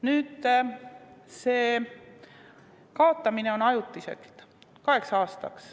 Nüüd, see kaotamine on ajutine, kaheks aastaks.